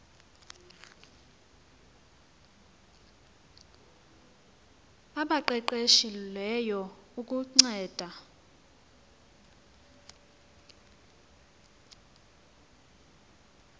abaqeqeshe lweyo ukuncedisa